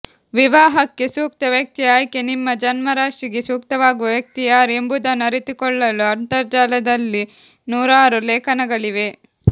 ವಿವಾಹಕ್ಕೆ ಸೂಕ್ತ ವ್ಯಕ್ತಿಯ ಆಯ್ಕೆ ನಿಮ್ಮ ಜನ್ಮರಾಶಿಗೆ ಸೂಕ್ತವಾಗುವ ವ್ಯಕ್ತಿ ಯಾರು ಎಂಬುದನ್ನು ಅರಿತುಕೊಳ್ಳಲು ಅಂತರ್ಜಾಲದಲ್ಲಿ ನೂರಾರು ಲೇಖನಗಳಿವೆ